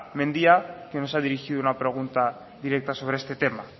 mendia que nos ha dirigido una pregunta directa sobre este tema